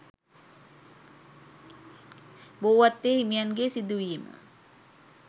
බෝවත්තේ හිමියන්ගේ සිදුවීම